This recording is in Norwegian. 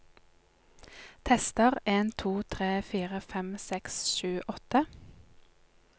Tester en to tre fire fem seks sju åtte